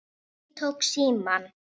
Ég tók símann.